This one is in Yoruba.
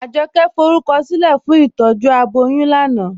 Ajọkẹ̀ fọrúkọsilẹ̀ fún ìtọ́jú abọ́yún lánà